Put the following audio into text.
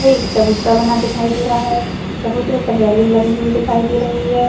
चबूतरा बना दिखाई दे रहा है चबूतरे पर रेलिंग लगी हुई दिखाई दे रही है।